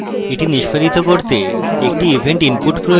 এটি নিষ্পাদিত করতে একটি event input প্রয়োজন